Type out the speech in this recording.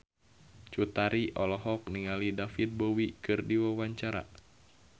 Cut Tari olohok ningali David Bowie keur diwawancara